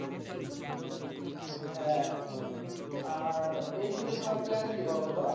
হ্যাঁ আর এই শীতে তোমার plan কি বলতো?